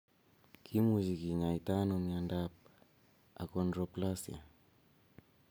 Kimuche kinyaita ano miondap achondroplasia?